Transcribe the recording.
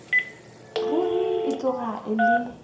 ruri e tloga e le